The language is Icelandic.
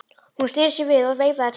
Hún sneri sér við og veifaði til hans.